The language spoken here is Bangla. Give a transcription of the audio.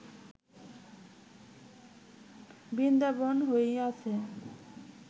বৃন্দাবন হইয়াছে